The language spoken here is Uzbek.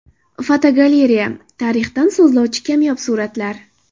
Fotogalereya: Tarixdan so‘zlovchi kamyob suratlar.